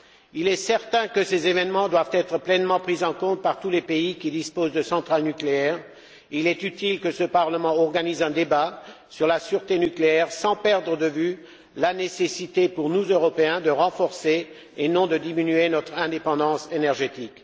Il est certain que ces événements doivent être pleinement pris en compte par tous les pays qui disposent de centrales nucléaires et il est utile que ce Parlement organise un débat sur la sûreté nucléaire, sans perdre de vue la nécessité, pour nous Européens, de renforcer et non de diminuer notre indépendance énergétique.